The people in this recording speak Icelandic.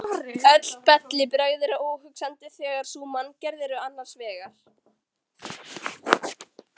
Öll bellibrögð eru óhugsandi þegar sú manngerð er annars vegar.